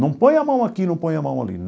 Não põe a mão aqui, não põe a mão ali.